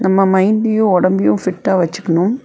நம்ம மைண்டையு உடம்பையு ஃபிட்டா வெச்சுக்கணும்.